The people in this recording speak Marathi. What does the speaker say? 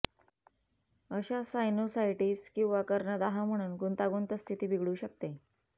अशा सायनुसायटिस किंवा कर्णदाह म्हणून गुंतागुंत स्थिती बिघडू शकते